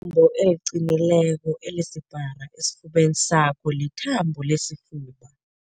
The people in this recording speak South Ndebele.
Ithambo eliqinileko elisipara esifubeni sakho lithambo lesifuba.